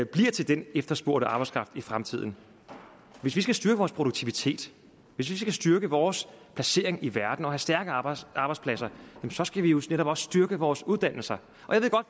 bliver til den efterspurgte arbejdskraft i fremtiden hvis vi skal styrke vores produktivitet hvis vi skal styrke vores placering i verden og have stærke arbejdspladser skal vi jo netop også styrke vores uddannelser